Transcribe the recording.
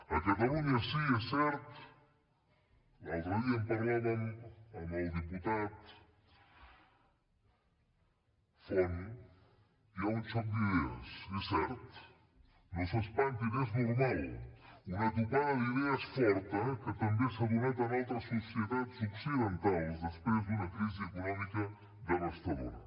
a catalunya sí és cert l’altre dia en parlàvem amb el diputat font hi ha un xoc d’idees és cert no s’espantin és normal una topada d’idees forta que també s’ha donat en altres societats occidentals després d’una crisi econòmica devastadora